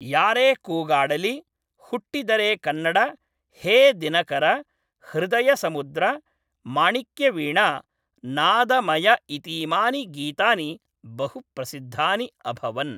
यारे कूगाडलि, हुट्टिदरे कन्नड, हे दिनकर, हृदय समुद्र, माणिक्यवीणा, नादमय इतीमानि गीतानि बहुप्रसिद्धानि अभवन्।